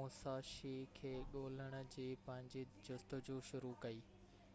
Musashi کي ڳولڻ جي پنهنجي جستجو شروع ڪئي